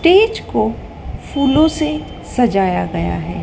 Stage को फूलों से सजाया गया है।